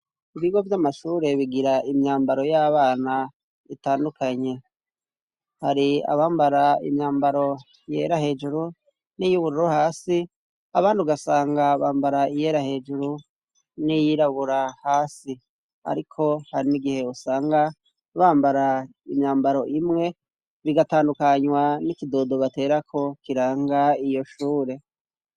Ibigo vy'amashure bigira imyambaro y'abana itandukanye, hari abambara imyambaro yera hejuru n'iyubururu hasi, abandi ugasanga bambara iyera hejuru n'iyirabura hasi, ariko hari n'igihe usanga bambara imyambaro imwe, bigatandukanywa n'ikidodo baterako kiranga iyo shure.